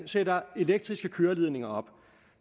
sætter elektriske køreledninger op